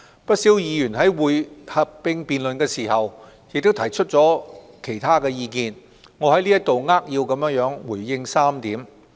不少議員在合併辯論亦提出了其他意見，我在此扼要回應3點。